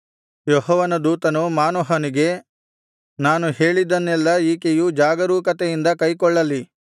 ಯೆಹೋವನ ದೂತನು ಮಾನೋಹನಿಗೆ ನಾನು ಹೇಳಿದ್ದನ್ನೆಲ್ಲಾ ಈಕೆಯು ಜಾಗರೂಕತೆಯಿಂದ ಕೈಕೊಳ್ಳಲಿ